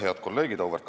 Head kolleegid!